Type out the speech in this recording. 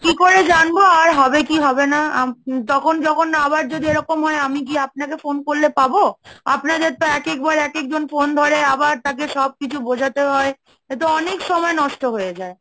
কি করে জানবো আর হবে কি হবে না? তখন যখন আবার যদি এরকম হয় আমি গিয়ে আপনাকে phone করলে পাবো? আপনাদের তো একেকবার এক এক জন phone ধরে আবার তাকে সব কিছু বোঝাতে হয়, এতো অনেক সময় নষ্ট হয়ে যায়।